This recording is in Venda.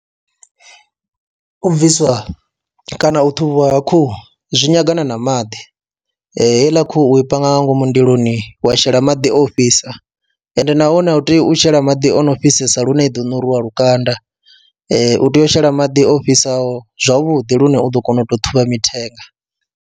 U bviswa kana u ṱhuvhiwa ha khuhu zwi nyagana na maḓi, heiḽa khuhu i panga nga ngomu ndiloni wa shela maḓi o fhisa ende nahone u tea u shela maḓi o no fhisesa lune i ḓo ṋuruwa lukanda, u tea u shela maḓi o fhisaho zwavhuḓi lune u ḓo kona u tou ṱhuvha mithenga.